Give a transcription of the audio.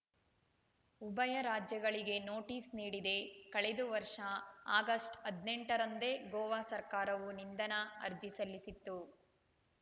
ಉಭಯ ರಾಜ್ಯಗಳಿಗೆ ನೋಟಿಸ್‌ ನೀಡಿದೆಕಳೆದು ವರ್ಷ ಆಗಸ್ಟ್‌ ಹದಿನೆಂಟರಂದೇ ಗೋವಾ ಸರ್ಕಾರವು ನಿಂದನಾ ಅರ್ಜಿ ಸಲ್ಲಿಸಿತ್ತು